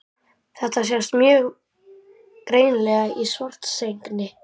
Þetta sést mjög greinilega í Svartsengi.